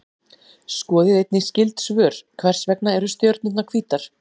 Skoðið einnig skyld svör: Hvers vegna eru stjörnurnar hvítar?